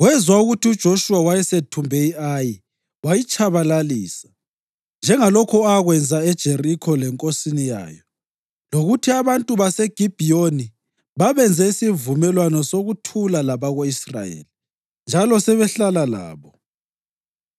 wezwa ukuthi uJoshuwa wayesethumbe i-Ayi wayitshabalalisa, njengalokho akwenza eJerikho lenkosini yayo, lokuthi abantu baseGibhiyoni babenze isivumelwano sokuthula labako-Israyeli njalo sebehlala labo.